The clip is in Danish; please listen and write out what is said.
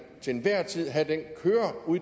til enhver tid have